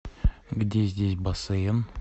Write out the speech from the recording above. где здесь бассейн